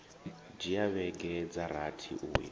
dzhia vhege dza rathi uya